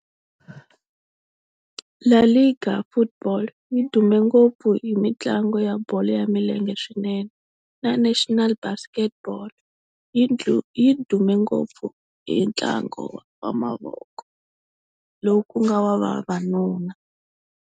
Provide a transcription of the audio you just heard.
LaLiga Football yi dume ngopfu hi mitlangu ya bolo ya milenge swinene, na National Basketball yi dume ngopfu hi ntlangu wa mavoko lowu ku nga wa vavanuna.